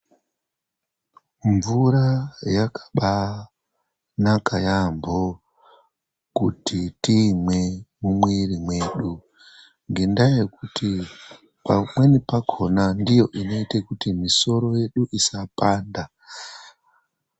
Mvura yakabaanaka yaambo kuti tiimwe mumwiri mwedu. Ngendaa yekuti pamweni pakona ndiyo inoite kuti misoro yedu isapanda.